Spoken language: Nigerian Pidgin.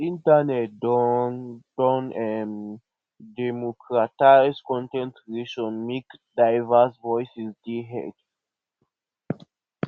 internet don don um democratize con ten t creation make diverse voices dey heard